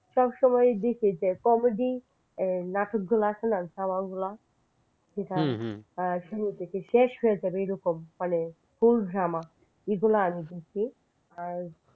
সব সময় দেখি যে comedy নাটক গুলা আছে না শুরু থেকে শেষ হয়ে যাবে এগুলা ও মানে ফুল drama এগুলা আমি দেখি আর